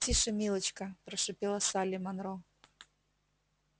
тише милочка прошипела салли манро